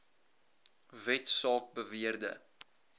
wet saak beweerde